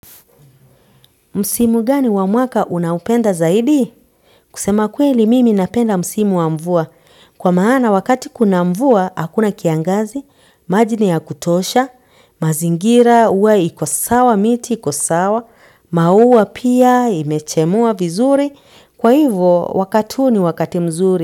Msimu gani wa mwaka unaopenda zaidi? Kusema kweli mimi napenda msimu wa mvua. Kwa maana wakati kuna mvua, hakuna kiangazi maji ni ya kutosha, mazingira huwa iko sawa miti iko sawa maua pia imechemua vizuri kwa hiyo wakati huo ni wakati mzuri.